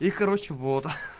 и короче вот